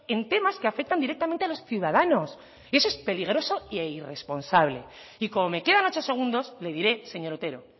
en temas que afectan directamente a los ciudadanos y eso es peligroso e irresponsable y como me quedan ocho segundos le diré señor otero